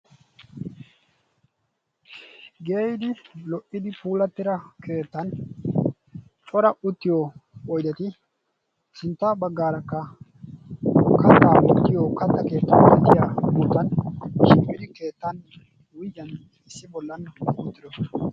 Geeyidi lo'idi puulatida keettan cora uttiyo oydetti sintta baggaarakka kattaa wottiyo katta keettaa wuygiyan issi bollan uttidosona.